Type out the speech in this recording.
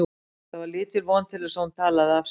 Það var lítil von til þess að hún talaði af sér.